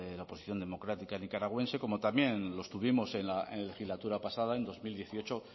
la oposición democrática nicaragüense como también lo estuvimos en la legislatura pasada en dos mil dieciocho